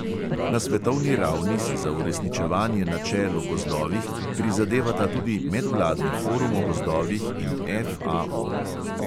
Na svetovni ravni si za uresničevanje načel o gozdovih prizadevata tudi medvladni forum o gozdovih in FAO.